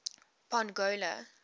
pongola